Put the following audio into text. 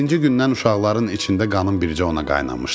Birinci gündən uşaqların içində qanın bircə ona qaynamışdı.